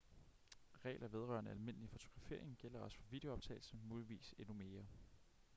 regler vedrørende almindelig fotografering gælder også for videoptagelse muligvis endnu mere